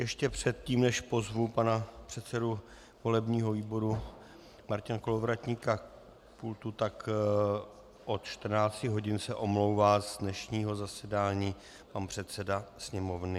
Ještě předtím, než pozvu pana předsedu volebního výboru Martina Kolovratníka k pultu, tak od 14 hodin se omlouvá z dnešního zasedání pan předseda Sněmovny.